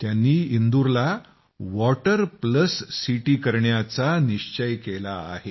त्यांनी इंदूरला water plus city बनवायचं आहे